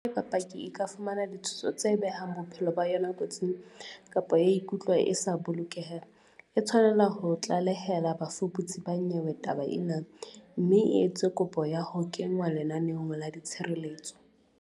Haeba paki e ka fumana ditshoso tse behang bophelo ba yona kotsing, kapa ya ikutlwa e sa bolokeha, e tshwanela ho tlalehela bafuputsi ba nyewe taba ena, mme e etse kopo ya ho kenngwa lenaneong la tshireletso.